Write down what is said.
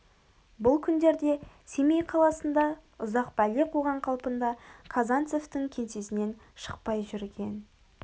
бұл күндерде семей қаласында ұзақ бәле қуған қалпында казанцевтің кеңсесінен шықпай жүрген